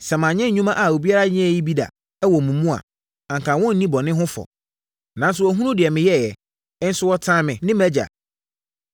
Sɛ manyɛ nnwuma a obiara nyɛɛ bi da no wɔ wɔn mu a, anka wɔrenni bɔne ho fɔ; nanso wɔahunu deɛ meyɛeɛ, nso wɔtan me ne mʼAgya.